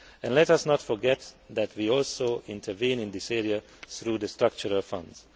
Let us not forget that we also intervene in this area through the Structural Funds.